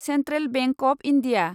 central bank of India